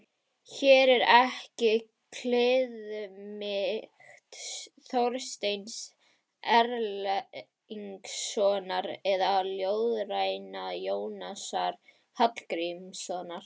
Hér er ekki kliðmýkt Þorsteins Erlingssonar eða ljóðræna Jónasar Hallgrímssonar.